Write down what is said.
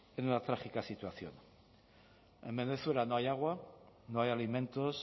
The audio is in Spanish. en una trágica situación en venezuela no hay agua no hay alimentos